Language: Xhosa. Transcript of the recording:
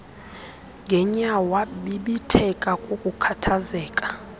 ngenyawo wabibitheka kukukhathazeka